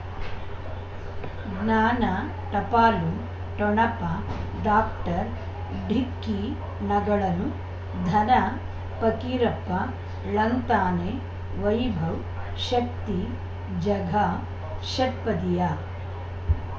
ಉಂ ಜ್ಞಾನ ಟಪಾಲು ಠೊಣಪ ಡಾಕ್ಟರ್ ಢಿಕ್ಕಿ ಣಗಳನು ಧನ ಪಕೀರಪ್ಪ ಳಂತಾನೆ ವೈಭವ್ ಶಕ್ತಿ ಝಗಾ ಷಟ್ಪದಿಯ